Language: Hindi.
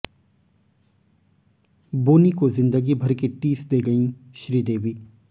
बोनी को जिंदगी भर की टीस दे गईं श्रीदेवी